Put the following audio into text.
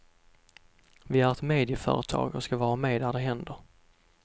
Vi är ett medieföretag och ska vara med där det händer.